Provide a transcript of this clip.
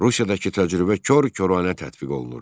Rusiyadakı təcrübə kor-koranə tətbiq olunurdu.